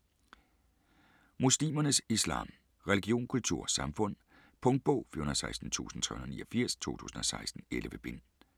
Muslimernes islam: religion, kultur, samfund Punktbog 416389 2016. 11 bind.